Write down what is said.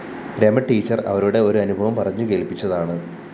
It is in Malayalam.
രമടീച്ചര്‍ അവരുടെ ഒരു അനുഭവം പറഞ്ഞുകേള്‍പ്പിച്ചതാണ്